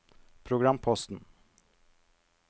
programposten